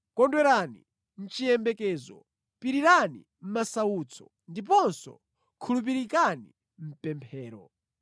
Kondwerani mʼchiyembekezo, pirirani mʼmasautso ndiponso khulupirikani mʼpemphero.